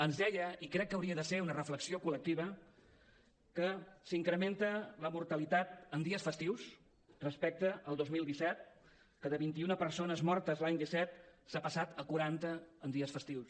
ens deia i crec que hauria de ser una reflexió col·lectiva que s’incrementa la mortalitat en dies festius respecte al dos mil disset que de vint un persones mortes l’any disset s’ha passat a quaranta en dies festius